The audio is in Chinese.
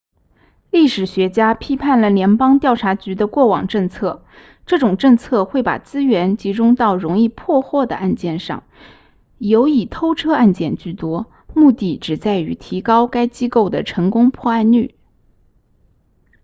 历史学家批判了联邦调查局的过往政策这种政策会把资源集中到容易破获的案件上尤以偷车案件居多目的只在于提高该机构的成功破案率